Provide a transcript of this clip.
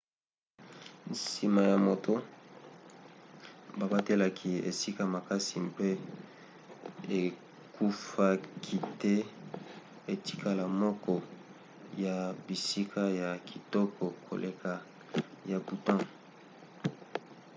nsima ya moto babatelaki esika makasi mpe ekufaki te etikala moko ya bisika ya kitoko koleka ya bhutan